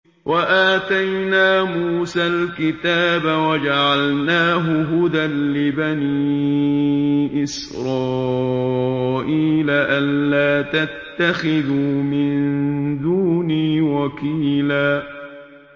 وَآتَيْنَا مُوسَى الْكِتَابَ وَجَعَلْنَاهُ هُدًى لِّبَنِي إِسْرَائِيلَ أَلَّا تَتَّخِذُوا مِن دُونِي وَكِيلًا